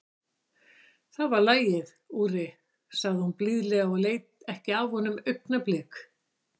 Það var lagið, Úri, sagði hún blíðlega og leit ekki af honum augnablik.